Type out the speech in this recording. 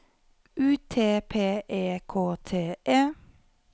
U T P E K T E